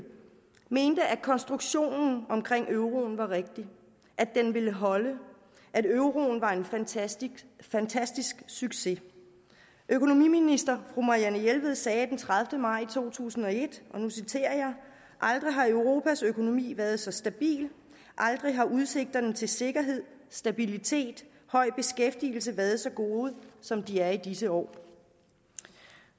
mente at konstruktionen omkring euroen var rigtig at den ville holde at euroen var en fantastisk fantastisk succes økonomiminister fru marianne jelved sagde den tredivete maj to tusind og et og nu citerer jeg aldrig har europas økonomi været så stabil aldrig har udsigterne til sikkerhed stabilitet høj beskæftigelse været så gode som de er i disse år